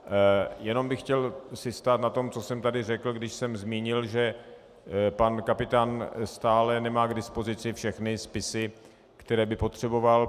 Jenom bych si chtěl stát na tom, co jsem tady řekl, když jsem zmínil, že pan Kapitán stále nemá k dispozici všechny spisy, které by potřeboval.